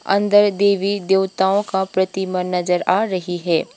अंदर देवी देवताओं का प्रतिमा नजर आ रही है।